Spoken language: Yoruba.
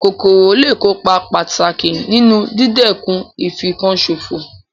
Kòkòrò lé è kópa pàtàkì nínu dídẹ̀kun ìfinkan sòfò